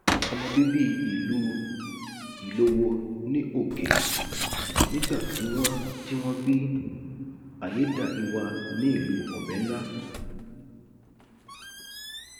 ọmọ bíbí ìlú ilówó ní òkè nígbà tí wọn tí wọn bí ayédáiwa ní ìlú ọbẹńlá